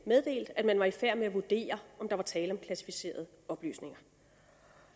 meddelte at man var i færd med at vurdere om der var tale om klassificerede oplysninger